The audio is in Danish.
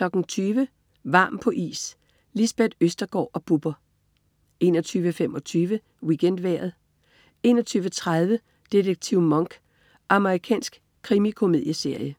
20.00 Varm på is. Lisbeth Østergaard og Bubber 21.25 WeekendVejret 21.30 Detektiv Monk. Amerikansk krimikomedieserie